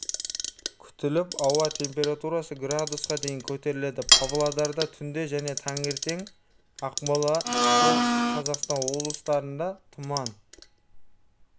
күтіліп ауа температурасы градусқа дейін көтеріледі павлодарда түнде және таңертең ақмола солтүстік қазақстан облыстарында тұман